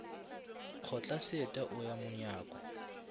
kgotla seeta o ya monyako